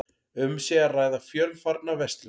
Um sé að ræða fjölfarna verslun